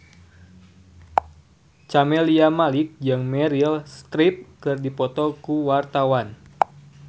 Camelia Malik jeung Meryl Streep keur dipoto ku wartawan